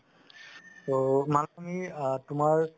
ত খিনি তুমাৰ